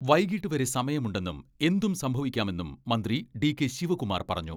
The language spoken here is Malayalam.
വൈകീട്ട് വരെ സമയമുണ്ടെന്നും എന്തും സംഭവിക്കാമെന്നും മന്ത്രി ഡി.കെ ശിവകുമാർ പറഞ്ഞു.